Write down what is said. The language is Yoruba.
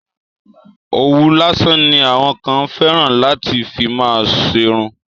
Òwú lásán ni àwọn kan fẹ́ràn láti fi má ṣerun.